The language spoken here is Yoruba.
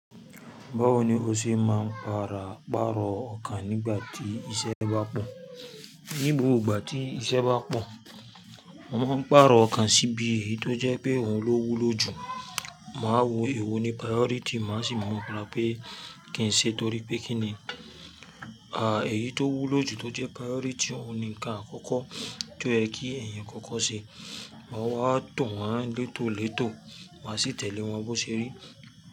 Báwo ni o ṣe máa ń para párọ̀ ọkàn nígbà tí iṣẹ́ bá pọ̀? Ni gbogbo ìgbà tí iṣẹ́ bá pọ̀, mo máa ń párọ̀ ọkàn sí bí èyí tó jẹ́ pé òun ló wúlò jù. Màá wo èwo ni priority, màá sì mọ pé kí n ṣe torí pé kí ni, à, èyí tó wúlò jù tó jẹ́ priority, òun ni ǹkan àkọ́kọ́ tó yẹ kí eyan kọ́kọ́ ṣe. Ma wá to wọ́n létò létò, màá sì tẹ̀lé wọn bó ṣe rí.